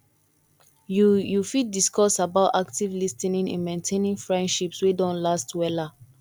you you fit discuss about active lis ten ing in maintaining friendships wey don last wella